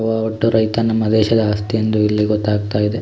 ವೊ ಒಟ್ಟು ರೈತ ನಮ್ಮ ದೇಶದ ಆಸ್ತಿ ಎಂದು ಇಲ್ಲಿ ಗೊತ್ತಾಗ್ತಾ ಇದೆ.